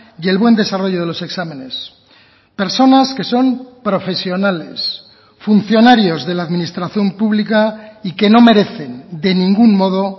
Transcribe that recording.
y el buen desarrollo de los exámenes personas que son profesionales funcionarios de la administración pública y que no merecen de ningún modo